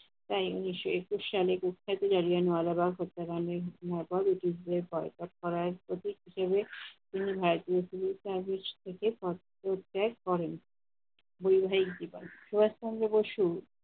তাই উনিশশো একুশ সালে কুখ্যাত গ্রাজুয়েন ওয়ালা রব হত্যাকাণ্ডের ঘোষণার পর ব্রিটিশদের পদত্যাগ করার প্রতীক হিসেবে তিনি white মিছিল কাগজ থেকে পদত্যাগ করেন। বৈবাহিক জীবন- সুভাস চন্দ্র বসু